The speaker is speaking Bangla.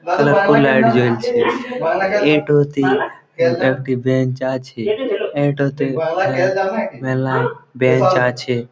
কত লাইট জ্বলছে এটোতে উম একটি বেঞ্চ আছে এটোতে মে মেলাই বেঞ্চ আছে ।